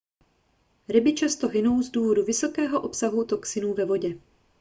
ryby často hynou z důvodu vysokého obsahu toxinů ve vodě